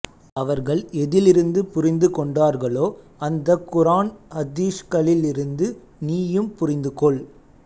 அவர்கள் எதிலிருந்து புரிந்து கொண்டார்களோ அந்தக் குர்ஆன் ஹதீஸ்களிலிருந்து நீயும் புரிந்து கொள்